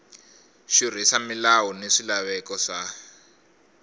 xurhisa milawu na swilaveko swa